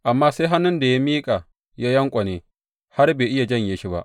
Amma sai hannun da ya miƙa ya yanƙwane, har bai iya janye shi ba.